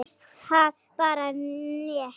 Mér finnst það bara nett.